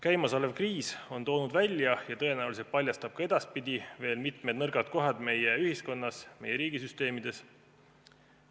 Käimasolev kriis on toonud välja ja tõenäoliselt paljastab ka edaspidi veel mitmed nõrgad kohad meie ühiskonnas, meie riigisüsteemides.